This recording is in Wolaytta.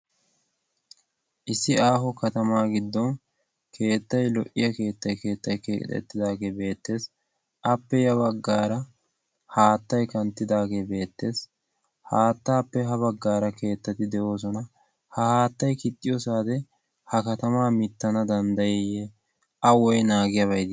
issi aaho katamaa giddon keettay lo''iya keettay keettay kexettidaagee beettees appe ya baggaara haattay kanttidaagee beettees haattaappe ha baggaara keettati de'oosona ha haattay kixxiyoosaade ha katamaa mittana danddayiyye a woy naagiyaabay dii